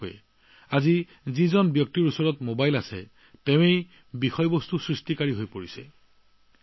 সঁচাকৈয়ে mobile phone থকা যিকোনো ব্যক্তিয়েই এতিয়া কণ্টেণ্ট ক্ৰিয়েটৰ হৈ পৰে